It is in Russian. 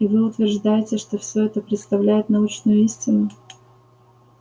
и вы утверждаете что всё это представляет научную истину